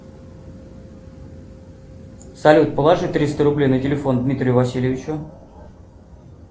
салют положи триста рублей на телефон дмитрию васильевичу